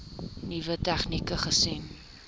nuwe tegnieke gesien